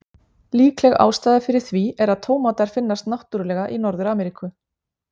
Líkleg ástæða fyrir því er að tómatar finnast náttúrulega í Norður-Ameríku.